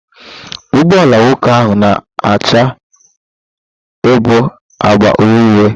Ụgbọ ala nwoke ahụ na-acha bụ agba uhie uhie.